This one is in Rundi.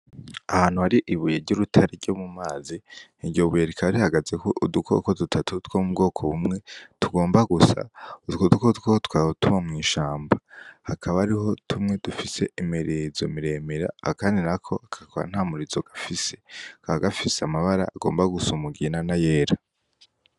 Ahantu hari ibuye ry'urutare ryo mu mazi, iryo buye rikaba rihagazeko udukoko dutatu two mu bwoko bumwe tugomba gusa, utwo dukoko tukaba tuba mw'ishamba, hakaba hariho tumwe dufise imirizo miremire, akandi nako kakaba nta murizo gafise, kakaba gafise amabara agomba gusa umugina n'ayera.